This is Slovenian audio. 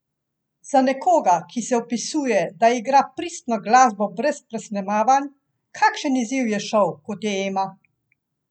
Za nekoga, ki se opisuje, da igra pristno glasbo brez presnemavanj, kakšen izziv je šov, kot je Ema?